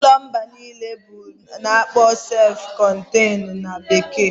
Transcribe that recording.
Ụlọ mbụ m biri bụ ulo ana akpoo sef contain na bekee.